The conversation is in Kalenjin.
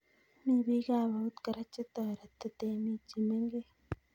Mi bikab eut kora chetoreti temik chemengech'